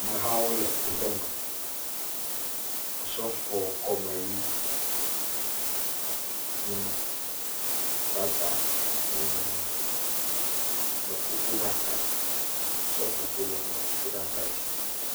Mehawo le kuƒeme. Osɔfoɔ kɔmeʋi nye ma. Faada hãe nye ma. Mekukuɖaka, seƒoƒo le mekukuɖaka dzi.